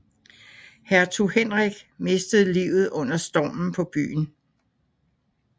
Hertug Henrik mistede livet under stormen på byen